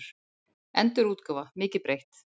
Endurútgáfa, mikið breytt.